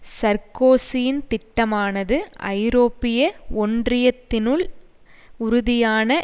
சர்க்கோசியின் திட்டமானது ஐரோப்பிய ஒன்றியத்தினுள் உறுதியான